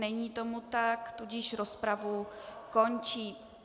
Není tomu tak, tudíž rozpravu končím.